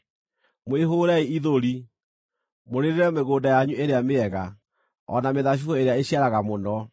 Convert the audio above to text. Mwĩhũũrei ithũri, mũrĩrĩre mĩgũnda yanyu ĩrĩa mĩega, o na mĩthabibũ ĩrĩa ĩciaraga mũno,